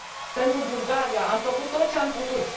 Pentru Bulgaria am făcut tot ce am putut.